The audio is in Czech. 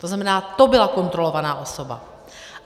To znamená, to byla kontrolovaná osoba.